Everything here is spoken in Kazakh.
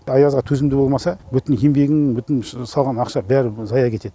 аязға төзімді болмаса бүтін еңбегің бүтін салған ақша бәрі зая кетеді